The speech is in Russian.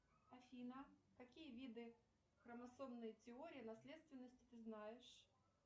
афина какие виды хромосомной теории наследственности ты знаешь